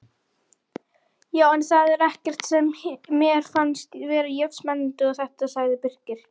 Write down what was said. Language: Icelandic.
Já, en það var ekkert sem mér fannst vera jafn spennandi og þetta sagði Birkir.